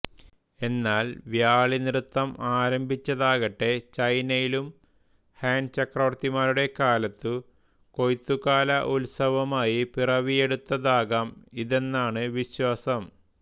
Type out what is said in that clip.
എന്നാൽ വ്യാളി നൃത്തം ആരംഭിച്ചടകട്ടെ ചൈനയിലും ഹാൻ ചക്രവര്തിമാരുടെ കാലത്തു കൊയ്ത്തു കാല ഉത്സവമായി പിരവിയെടുട്ടടാകം ഇതെന്നാണ് വിശ്വാസം